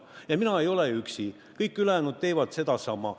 Ja mina ei ole üksi, kõik ülejäänud teevad sedasama.